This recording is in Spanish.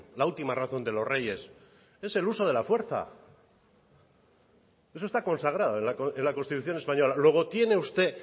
la última razón de los reyes es el uso de la fuerza eso está consagrado en la constitución española luego tiene usted